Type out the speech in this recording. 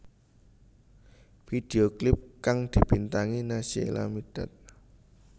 Video klip kang dibintangi Naysila Mirdad